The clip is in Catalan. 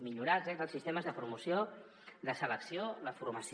millorar els sistemes de promoció la selecció la formació